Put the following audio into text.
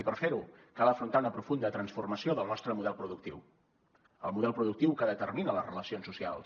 i per fer ho cal afrontar una profunda transformació del nostre model productiu el model productiu que determina les relacions socials